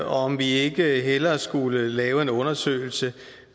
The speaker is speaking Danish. om vi ikke hellere skulle lave en undersøgelse